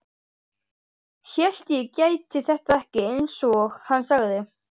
Hélt ég gæti þetta ekki, einsog hann sagði.